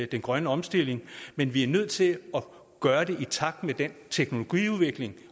den grønne omstilling men vi er nødt til at gøre det i takt med den teknologiudvikling